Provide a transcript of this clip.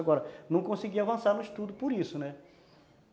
Agora, não conseguia avançar no estudo por isso, né?